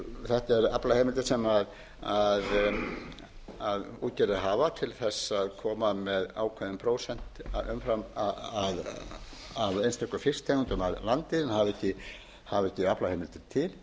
þetta eru aflaheimildir sem útgerðir afar til þess að koma með ákveðin prósent umfram af einstökum fisktegundum að landi hafa ekki aflaheimildir til